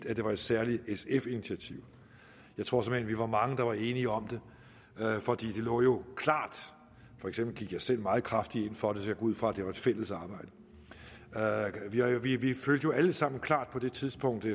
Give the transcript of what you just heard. at det var et særligt sf initiativ jeg tror såmænd vi var mange der var enige om det for det lå jo klart for eksempel gik jeg selv meget kraftigt ind for det så jeg ud fra at det var et fælles arbejde vi vi følte jo alle sammen klart på det tidspunkt i